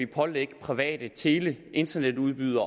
pålægge private tele og internetudbydere